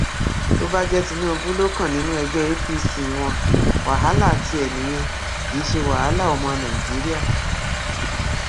tó bá jẹ tinubu ló kàn nínú ẹgbẹ apc wọn wàhálà tiẹ nìyẹn kì í ṣe wàhálà ọmọ nàìjíríà